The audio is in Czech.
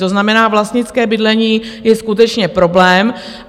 To znamená, vlastnické bydlení je skutečně problém.